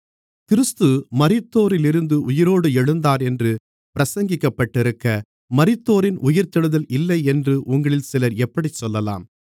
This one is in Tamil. கிறிஸ்து மரித்தோரிலிருந்து உயிரோடு எழுந்தாரென்று பிரசங்கிக்கப்பட்டிருக்க மரித்தோரின் உயிர்த்தெழுதல் இல்லையென்று உங்களில் சிலர் எப்படிச் சொல்லலாம்